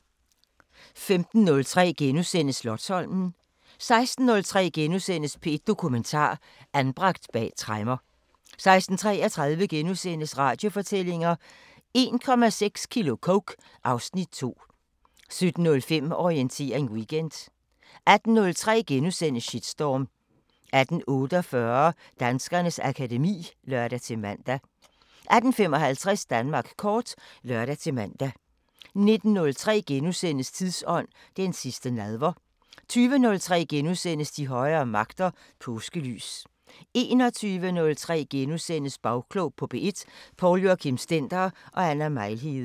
15:03: Slotsholmen * 16:03: P1 Dokumentar: Anbragt bag tremmer * 16:33: Radiofortællinger: 1,6 kilo coke - (Afs. 2)* 17:05: Orientering Weekend 18:03: Shitstorm * 18:48: Danskernes akademi (lør-man) 18:55: Danmark kort (lør-man) 19:03: Tidsånd: Den sidste nadver * 20:03: De højere magter: Påskelys * 21:03: Bagklog på P1: Poul Joachim Stender og Anna Mejlhede *